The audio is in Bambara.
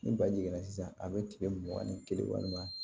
Ni baji jiginna sisan a bɛ tigɛ mugan ni kelen walima